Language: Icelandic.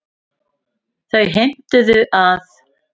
Þau heimtuðu að